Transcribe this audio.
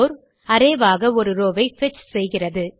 arrayஆக ஒரு ரோவ் ஐ பெட்ச் செய்கிறது